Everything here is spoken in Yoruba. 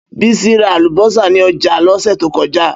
Bísí ra àlùbọ́sà ní ọjà lọ́sẹ̀ tó kọjá.